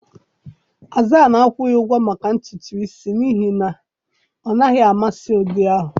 Hasan akwụghị ụgwọ maka ntutu isi n'ihi na ọ naghị amasị ụdị ahụ